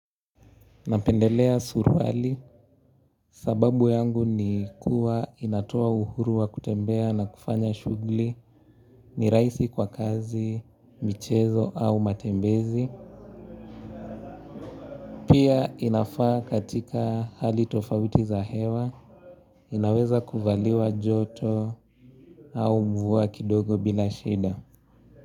Napendelea suruali sababu yangu ni kuwa inatoa uhuru wa kutembea na kufanya shughuli ni raisi kwa kazi, michezo au matembezi. Pia inafaa katika hali tofauti za hewa. Inaweza kuvaliwa joto au mvua kidogo bila shida.